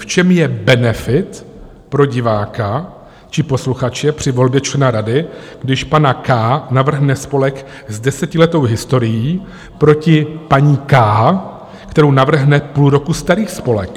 V čem je benefit pro diváka či posluchače při volbě člena rady, když pana K navrhne spolek s desetiletou historií proti paní K, kterou navrhne půl roku starý spolek?